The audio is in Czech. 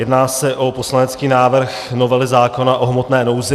Jedná se o poslanecký návrh novely zákona o hmotné nouzi.